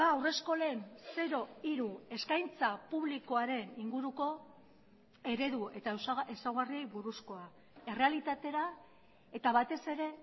haurreskolen zero hiru eskaintza publikoaren inguruko eredu eta ezaugarriei buruzkoa errealitatera eta batez ere